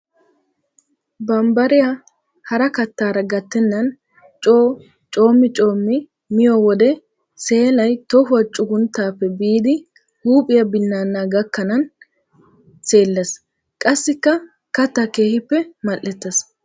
Bambbariya hara kattara gattenan coo coomi coomi miyo wode seelay tohuwa cuggunttappe biidi huuphiya binanna gakkanan seeles. Qassikka katta keehippe mali'eetes.